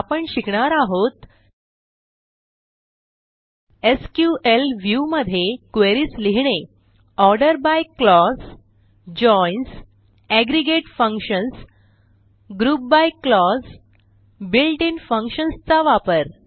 आपण शिकणार आहोत एसक्यूएल व्ह्यू मध्ये क्वेरीज लिहिणे order by clause joins aggregate functions group by clause built in functions चा वापर